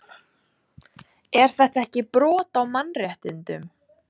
Er þetta ekki brot á mannréttindum?